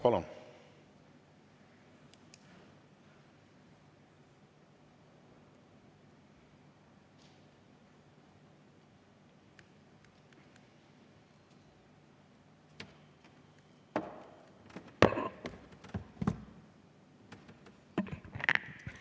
Palun!